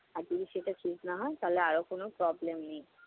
আর যদি সেটা ঠিক না হয় তাহলে আরো কোন problem নেই।